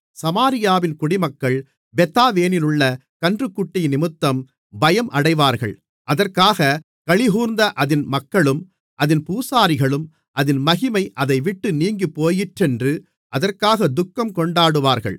சமாரியாவின் குடிமக்கள் பெத்தாவேனிலுள்ள கன்றுக்குட்டியினிமித்தம் பயம் அடைவார்கள் அதற்காகக் களிகூர்ந்த அதின் மக்களும் அதின் பூசாரிகளும் அதின் மகிமை அதைவிட்டு நீங்கிப்போயிற்றென்று அதற்காகத் துக்கம்கொண்டாடுவார்கள்